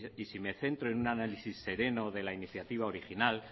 y si me centro en un análisis sereno de la iniciativa original